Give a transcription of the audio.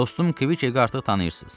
Dostum Kvikqi artıq tanıyırsınız.